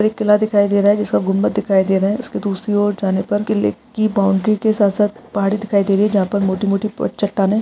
एक किला दिखाई दे रहा है जिसका गुंम्बद दिखाई दे रहा है उसके दूसरी और जाने पर किले कि बाउंड्री के साथ साथ पहाड़ी दिखाई दे रही है जहाँ पर मोटी-मोटी चट्टानें --